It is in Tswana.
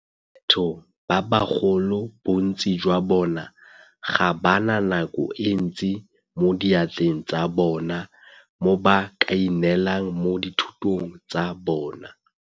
Batho ba bagolo bontsi jwa bona ga ba na nako e ntsi mo diatleng tsa bona mo ba kaineelang mo dithutong tsa bona.